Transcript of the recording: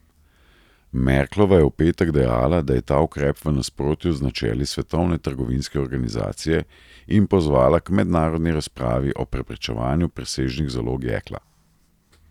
Merklova je v petek dejala, da je ta ukrep v nasprotju z načeli Svetovne trgovinske organizacije, in pozvala k mednarodni razpravi o preprečevanju presežnih zalog jekla.